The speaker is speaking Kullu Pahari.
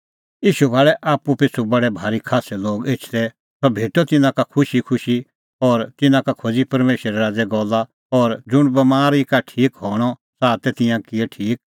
ईशू भाल़ै आप्पू पिछ़ू बडै भारी खास्सै लोग एछदै और सह भेटअ तिन्नां का खुशीखुशी और तिन्नां का खोज़ी परमेशरे राज़े गल्ला और ज़ुंण बमारी का ठीक हणअ च़ाहा तै तिंयां किऐ ठीक